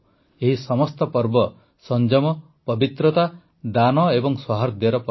ଏହି ସମସ୍ତ ପର୍ବ ସଂଯମ ପବିତ୍ରତା ଦାନ ଏବଂ ସୌହାର୍ଦ୍ଦର ପର୍ବ